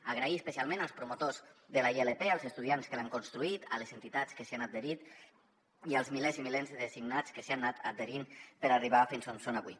donar les gràcies especialment als promotors de la ilp als estudiants que l’han construït a les entitats que s’hi han adherit i als milers i milers de signants que s’hi han anat adherint per arribar fins on són avui